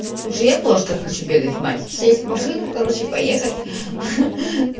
слушай я тоже так хочу бегать мать сесть в машину короче поехать